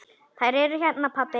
Þær eru hérna, pabbi.